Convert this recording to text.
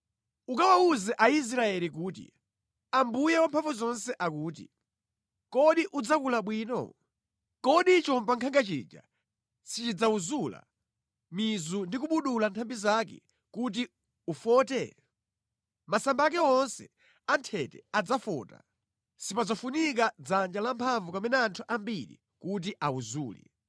“Ukawawuze Aisraeli kuti, ‘Ambuye Wamphamvuzonse akuti: Kodi udzakula bwino? Kodi chiwombankhanga chija sichidzawuzula mizu ndi kubudula nthambi zake kuti ufote? Masamba ake onse anthete adzafota. Sipadzafunika dzanja lamphamvu kapena anthu ambiri kuti awuzule.